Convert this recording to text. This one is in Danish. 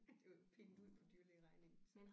Det var jo pinget ud på dyrelægeregningen så